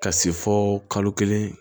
Ka se fo kalo kelen